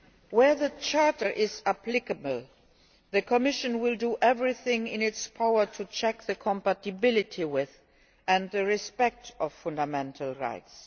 Where the Charter is applicable the Commission will do everything in its power to check compatibility with and respect of fundamental rights.